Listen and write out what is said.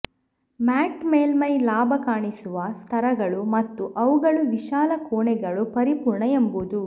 mat ಮೇಲ್ಮೈ ಲಾಭ ಕಾಣಿಸುವ ಸ್ತರಗಳು ಮತ್ತು ಅವುಗಳು ವಿಶಾಲ ಕೋಣೆಗಳು ಪರಿಪೂರ್ಣ ಎಂಬುದು